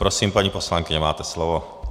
Prosím, paní poslankyně, máte slovo.